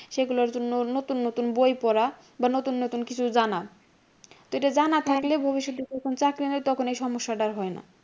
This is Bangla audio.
সেগুলর জন্য নতুন নতুন বই পড়া বা নতুন নতুন কিছু জানা। তো এইটা জানা থাকে ভবিষ্যতে যখন চাকরি হয় তখন এই সমস্যাটা হয়না।